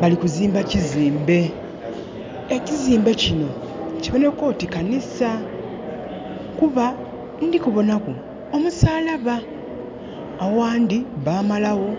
Balikuzimba kizimbe ekizimbe kino kiboneka oti kanisa kuba ndikubonaku omusalaba aghandi bamalagho